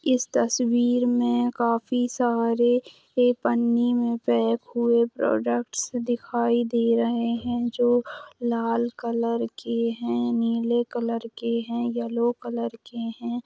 इस तस्वीर में काफी सारे ये पन्नी में पैक हुए प्रोडक्टस दिखाई दे रहे हैं जो लाल कलर के हैं नीले कलर के हैं येलो कलर के हैं ।